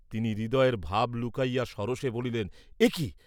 তিনি হৃদয়ের ভাব লুকাইয়া সরোষে বলিলেন এ কি?